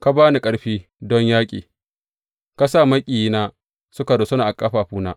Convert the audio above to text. Ka ba ni ƙarfi don yaƙi; ka sa maƙiyina suka rusuna a ƙafafuna.